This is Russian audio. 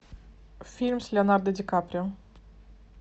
фильм с леонардо ди каприо